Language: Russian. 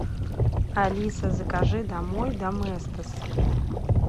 алиса закажи домой доместос